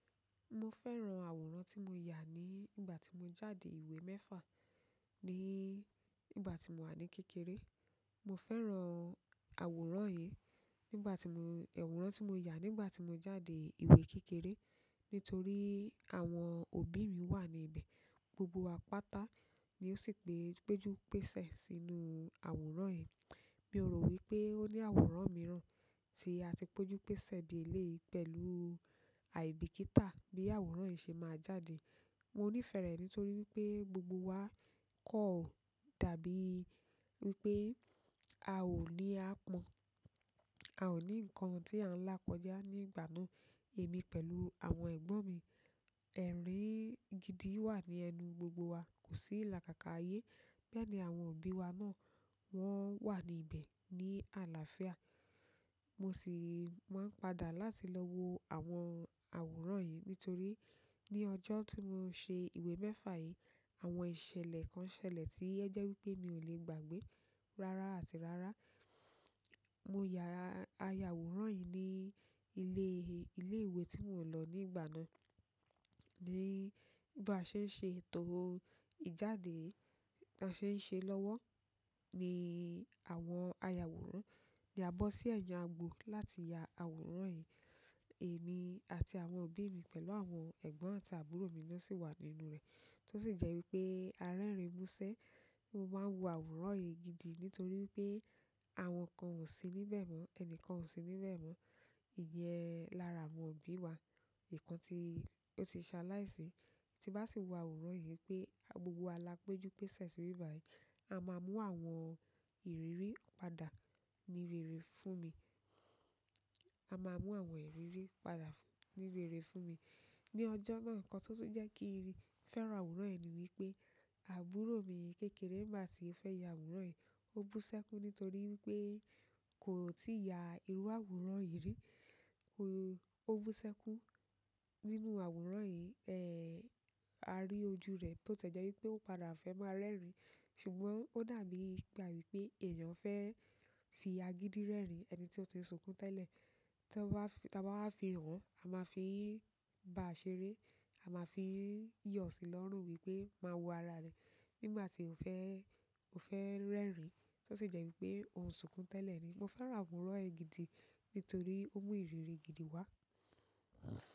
Mo fẹ́ràn àwòrán tí mo yà ní ìgbà tí mo jáde ìwé mẹ́fà ní ìgbà tí mò wà ní kékeré. Mo fẹ́ràn àwòrán yìí nígbà tí mo, àwòrán tí mo yà nígbà tí mo jáde ìwé kékeré nítorí àwọn òbí mi wà ní ibẹ̀, gbogbo wa pátá ni ó sì péjú pèsè sínú àwòrán yìí. Mi ò rò wípé ó ní àwòrán mìíràn tí a ti péjú pèsè bí eléyìí pẹ̀lú àìbíkítà bí àwòrán yìí ṣe máa jáde. Mo nífẹ̀ẹ́ rẹ̀ nítorí wípé gbogbo wa kan dàbí wípé a ò ní aàpọ́n, a ò ní ǹkan tí à ń lá kọ́já ní ìgbà náà èmi pẹ̀lú àwọn ẹ̀gbon mi. Ẹ̀rín gidi wà ní ẹnu gbogbo wa, kò sí ilàkàkà ayé, bẹ́ẹ́ ni àwọn òbí wa náà wọ́n wà ní ibẹ̀ ní àlàáfíà. Mo sì máa ń padà láti lọ wo àwọn àwòrán yìí nítorí ní ọjọ́ tí mo ṣe ìwé mẹ́fa yìí, àwọn ìṣẹ̀lẹ̀ kan ṣẹlẹ̀ tí o jẹ́ wípé mi ò lè gbàgbé rárá àti rárá. Mo yà, a ya àwòrán yìí ní ilé, ilé ìwé tí mò ń lọ nígbà náà ní bi à se ń ṣe ètò ìjáde, bi a ṣe n se lọ́wọ́ ni àwọn ayawòrán ni a bọ́ sí ẹ̀yàn agbo láti ya àwòrán yìí. Emi àti àwọn òbí mi, pẹ̀lú àwọn egbon àti àbúrò mi náà si wa nínú re, to si je wípé a rerin muse, mo maa n wo àwòrán yìí gidi nítorí wípé àwọn kan o si níbẹ̀ mo, ẹni kan o si níbẹ̀ mọ. Iyẹ́n lára àwọn òbí wa, ìkan tí ó ti ṣaláìsí tí n bá sì wo àwòrán yìí pé gbogbo wa lá péjú pèsè síbí báyìí, a máa mú àwọn ìrírí padà ní rere fún mi, a máa mú àwọn ìrírí padà ní rere fún mi. Ni ọjọ́ náà nǹkan tó tun jẹ́ kí n fẹ́ràn àwòrán yìí ni wípé àbúrò mi kékeré nígbà tí ó fẹ́ ya àwòrán yìí ó bú sẹ́kú nítorí wípé kò tí ya irú àwòrán yìí rí. Ó bú sẹ́kún nínú àwòrán yìí, a rí ojú rẹ̀ bó tiẹ́ jẹ́ wípé ó padà fẹ́ máa rẹ́rìn ṣùgbọ́n ó dàbí gba wípé èèyàn fẹ́ fi agídí rẹ́rìn ẹni tí ó ti n sunkún tẹ́lẹ̀. Tí a bá, tí a bá fi hàn, a máa fi bá a ṣeré, a máa fi yọ̀ sí lọ́rùn wípé máa wo ara rẹ̀ nígbà tí ó fẹ́, ó fẹ́ rẹ́rìn tó sì jẹ́ wípé ò ún sunkún tẹ́lẹ̀ ni. Mo fẹ́ràn àwòrán yìí gidi nítorí ó mú ìrírí gidi wá.